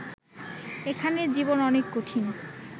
এখানে জীবন অনেক কঠিন